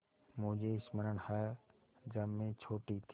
मुझे स्मरण है जब मैं छोटी थी